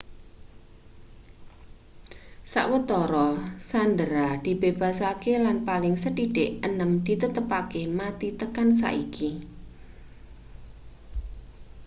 sawetara sandera dibebasake lan paling sethithik enem ditetepake mati tekan saiki